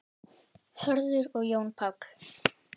Hörður og Jón Páll.